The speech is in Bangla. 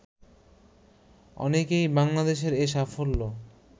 অনেকেই বাংলাদেশের এ সাফল্য